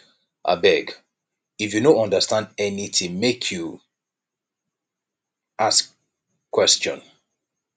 abeg if you no understand anytin make you ask question